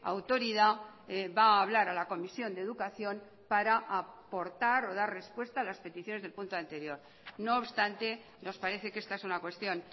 autoridad va a hablar a la comisión de educación para aportar o dar respuesta a las peticiones del punto anterior no obstante nos parece que esta es una cuestión